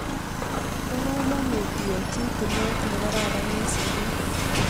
Pa kamonuy iyai chi tilet ne kararan eng' sopet